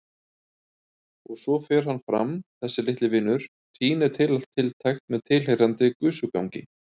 Og svo fer hann fram, þessi litli vinur, tínir til allt tiltækt með tilheyrandi gusugangi.